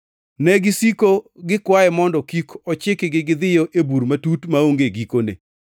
To negisiko gikwaye mondo kik ochikgi gidhiyo e Bur Matut Maonge Gikone.